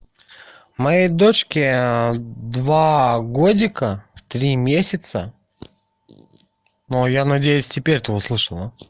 моей дочке два годика три месяца но я надеюсь теперь ты услышал да